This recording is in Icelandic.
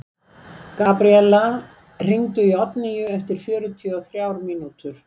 Gabríella, hringdu í Oddnýju eftir fjörutíu og þrjár mínútur.